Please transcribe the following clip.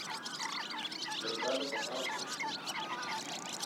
бригада по французски